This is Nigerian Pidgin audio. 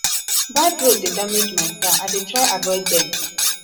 bad road dey damage my car i dey try avoid dem